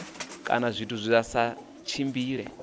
kana zwithu zwa si tshimbile